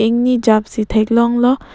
ingjap si thek long lo.